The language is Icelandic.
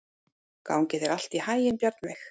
Gangi þér allt í haginn, Bjarnveig.